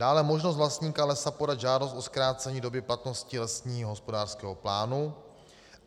Dále možnost vlastníka lesa podat žádost o zkrácení doby platnosti lesního hospodářského plánu.